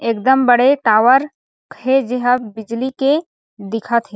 एकदम बड़े टावर हे जेहा बिजली के दिखत हे।